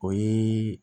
O ye